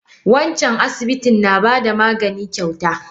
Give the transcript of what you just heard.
Wancan asibitin na bada magani kyauta.